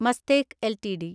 Mastek LTD